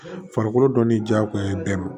Farikolo dɔnni jagoya ye bɛɛ ma